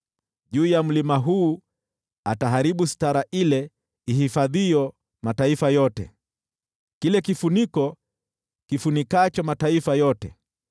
Juu ya mlima huu ataharibu sitara ihifadhiyo mataifa yote, kile kifuniko kifunikacho mataifa yote,